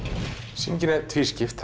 sýningin er tvískipt